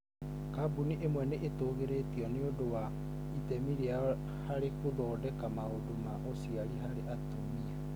Kambuni ĩmwe nĩ ĩtũgĩrĩtio nĩ ũndũ wa itemi rĩayo harĩ gũthondeka maũndũ ma ũciari harĩ atumia.